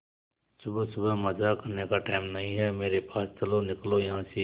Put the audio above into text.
सुबह सुबह मजाक करने का टाइम नहीं है मेरे पास चलो निकलो यहां से